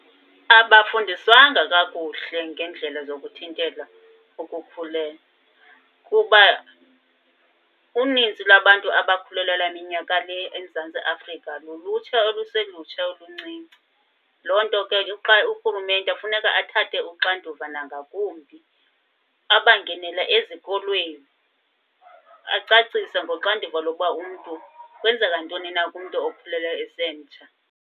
Abafundiswanga kakuhle ngeendlela zokuthintela ukukhulelwa kuba uninzi lwabantu abakhulelelwa minyaka le eMzantsi Afrika lulutsha oluselutsha oluncinci. Loo nto ke urhulumente kufuneka athathe uxanduva nangakumbi abangenele ezikolweni, acacise ngoxanduva lokuba umntu kwenzeka ntoni na kumntu okhulelweyo esemtsha.